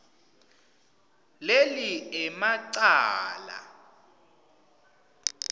leli ema cala